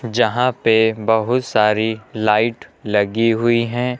जहां पे बहोत सारी लाइट लगी हुई है।